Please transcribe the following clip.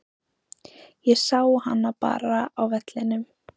Ég sá hana bara á vellinum.